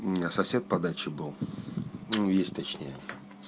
у меня сосед по даче был ну есть точнее